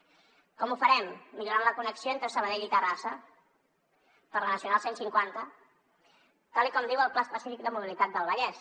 com ho farem millorant la connexió entre sabadell i terrassa per la nacional cent i cinquanta tal com diu el pla específic de mobilitat del vallès